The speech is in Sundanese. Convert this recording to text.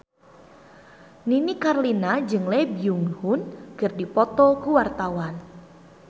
Nini Carlina jeung Lee Byung Hun keur dipoto ku wartawan